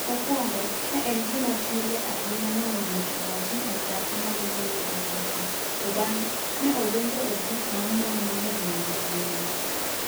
Mokwongo, ne en gima pile ahinya mondo ng'ato owach ni en dhako ma gombo nindruok gi chwo, to bang'e ne odonjo e grup mar mon mohero nindruok gi mon.